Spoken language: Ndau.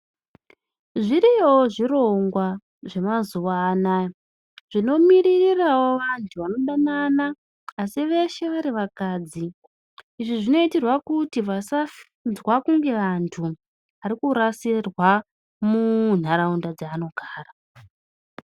Zviriyowo zvirongwa zve mazuva anaya zvino miririrawo vantu vano danana asi veshe vari vakadzi izvi zvino itirwa kuti vasadzwa kunge antu ari kurasirwa mu nharaunda dza vanogara.